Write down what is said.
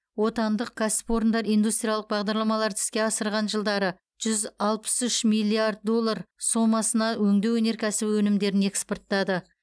отандық кәсіпорындар индустриялық бағдарламаларды іске асырған жылдары жүз алпыс үш миллиард доллар сомасына өңдеу өнеркәсібі өнімдерін экспорттады